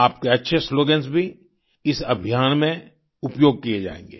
आपके अच्छे स्लोगन्स भी इस अभियान में उपयोग किए जायेंगे